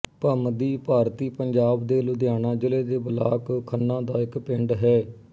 ਭਮਦੀ ਭਾਰਤੀ ਪੰਜਾਬ ਦੇ ਲੁਧਿਆਣਾ ਜ਼ਿਲ੍ਹੇ ਦੇ ਬਲਾਕ ਖੰਨਾ ਦਾ ਇੱਕ ਪਿੰਡ ਹੈ